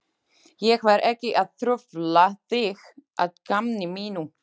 Ég var ekki að trufla þig að gamni mínu.